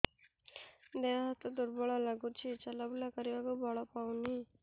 ଦେହ ହାତ ଦୁର୍ବଳ ଲାଗୁଛି ଚଲାବୁଲା କରିବାକୁ ବଳ ପାଉନି